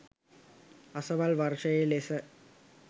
අසවල් වර්ෂයේ ලෙස